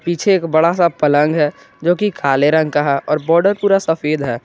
पीछे एक बड़ा सा पलंग है जोकि काले रंग कहां और बॉर्डर पूरा सफेद है।